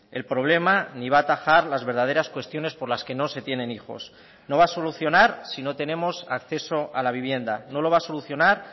el problema ni va atajar las verdaderas cuestiones por las que no se tienen hijos no va a solucionar si no tenemos acceso a la vivienda no lo va a solucionar